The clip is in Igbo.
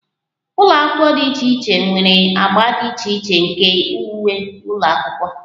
Ụlọ akwụkwọ dị iche iche nwere agba dị iche iche nke uwe ụlọ akwụkwọ